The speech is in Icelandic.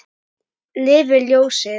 Lifi ljósið.